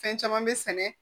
Fɛn caman bɛ sɛnɛ